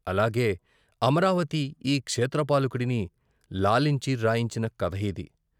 అలాగే అమరావతి ఈ క్షేత్రపాలకుడిని లాలించి రాయించిన కథ యిది.